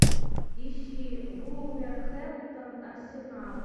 ищи вулверхэмптон арсенал